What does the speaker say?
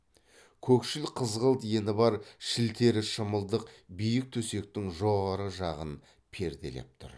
көкшіл қызғылт ені бар шілтері шымылдық биік төсектің жоғары жағын перделеп тұр